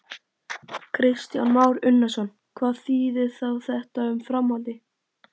Kristján Már Unnarsson: Hvað þýðir þá þetta um framhaldið?